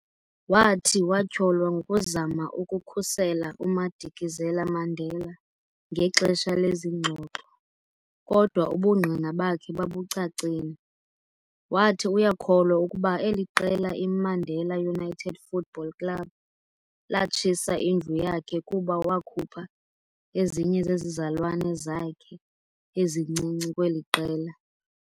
Wathi watyholwa ngokuzama ukukhusela uMadikizela-Mandela ngexesha lezi ngxoxo, kodwa ubungqina bakhe babucacile. Wathi uyakholwa ukuba eli qela i"Mandela United Football Club" latshisa indlu yakhe kuba wakhupha ezinye zezizalwane zakhe ezincinci kweli qela.